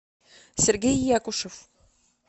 сергей якушев